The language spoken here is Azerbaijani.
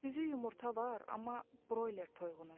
Düzü yumurta var, amma broiler toyuğunun.